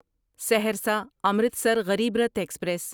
Saharsa Amritsar Garib Rath express